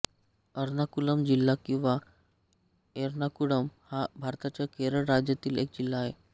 अर्नाकुलम जिल्हा किंवा एर्नाकुळम हा भारताच्या केरळ राज्यातील एक जिल्हा आहे